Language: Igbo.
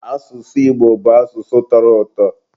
asụsụ Igbo bụ asụsụ tọrọ ụtọ.